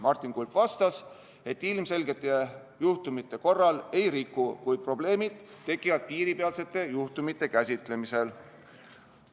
Martin Kulp vastas, et ilmselgete juhtumite korral ei riku, kuid probleemid tekivad piiripealsete juhtumite käsitlemisel.